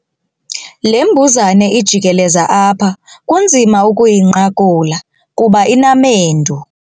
Le mbuzane ijikeleza apha kunzima ukuyinqakula kuba inamendu.